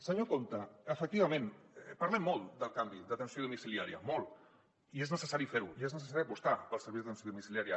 senyor compte efectivament parlem molt del canvi d’atenció domiciliària molt i és necessari fer·lo i és necessari apostar pels serveis d’atenció domicilià·ria